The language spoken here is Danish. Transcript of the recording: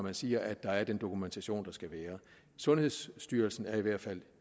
at sige at der er den dokumentation der skal være sundhedsstyrelsen er i hvert fald